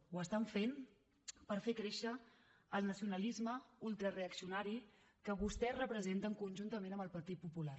ho estan fent per fer créixer el nacionalisme ultra reaccionari que vostès representen conjuntament amb el partit popular